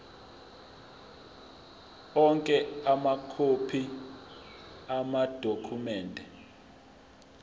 onke amakhophi amadokhumende